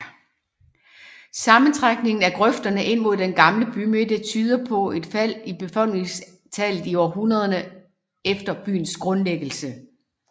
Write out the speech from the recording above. Sammentrækningen af grøfterne ind mod den gamle bymidte tyder på et fald i befolkningstallet i århundrederne efter byens grundlæggelse